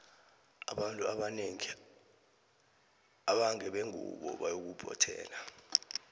abantu abanengi abangabe ngube ngubo bayaphothela